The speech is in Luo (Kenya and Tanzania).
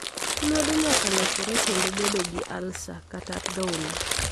Lith lwedo nyaka lokore kendo bedo gi alsa kata athola